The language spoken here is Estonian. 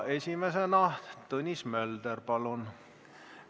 Esimesena Tõnis Mölder, palun!